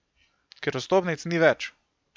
Ker vstopnic ni več!